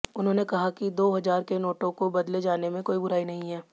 उन्होंने कहा कि दो हजार के नोटों को बदले जाने में कोई बुराई नहीं है